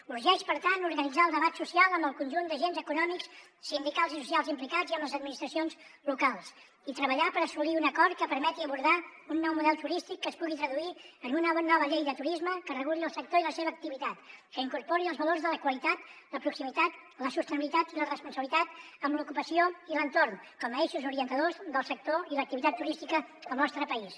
urgeix per tant organitzar el debat social amb el conjunt d’agents econòmics sindicals i socials implicats i amb les administracions locals i treballar per assolir un acord que permeti abordar un nou model turístic que es pugui traduir en una nova llei de turisme que reguli el sector i la seva activitat que incorpori els valors de la qualitat la proximitat la sostenibilitat i la responsabilitat amb l’ocupació i l’entorn com a eixos orientadors del sector i l’activitat turística al nostre país